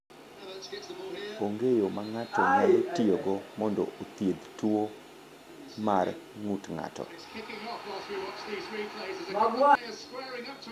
Onge yo ma ng’ato nyalo tiyogo mondo othiedh tuwo mar ng’ut ng’ato.